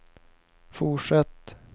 fortsätt